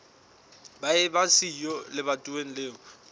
ba eba siyo lebatoweng leo